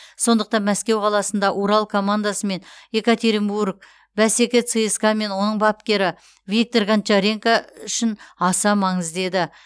сондықтан мәскеу қаласында урал командасымен екатеринбург бәсеке цска мен оның бапкері виктор гончаренко үшін аса маңызды еді